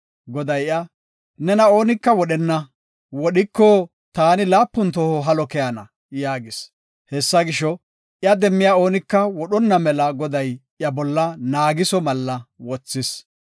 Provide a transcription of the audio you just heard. Goday iya, “Nena oonika wodhenna; wodhiko, taani laapun toho halo keyana” yaagis. Hessa gisho, iya demmiya oonika wodhonna mela Goday iya bolla naagiso malla wothis.